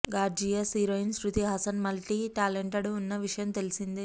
gorgeous heroine Shruti Haasan multi talented అన్న విషయం తెలిసిందే